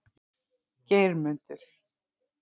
Geirmundur